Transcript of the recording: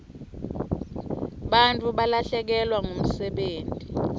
bantfu balahlekelwa msebenti